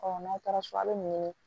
n'aw taara so a bɛ nin ɲini